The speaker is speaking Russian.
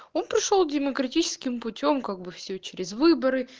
он пришёл демократическим путём как бы все через выборы